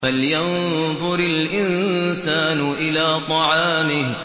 فَلْيَنظُرِ الْإِنسَانُ إِلَىٰ طَعَامِهِ